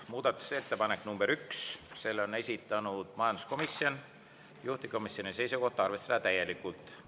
Muudatusettepanek nr 1, selle on esitanud majanduskomisjon, juhtivkomisjoni seisukoht on arvestada seda täielikult.